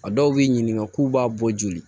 A dɔw b'i ɲininka k'u b'a bɔ joli